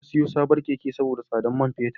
Na siyo sabon Keke saboda tsadar man fetur.